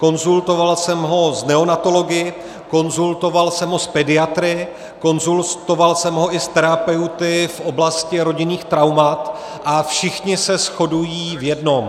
Konzultoval jsem ho s neonatology, konzultoval jsem ho s pediatry, konzultoval jsem ho i s terapeuty v oblasti rodinných traumat a všichni se shodují v jednom.